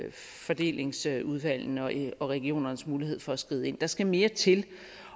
i fordelingsudvalgene og i regionernes mulighed for at skride ind der skal mere til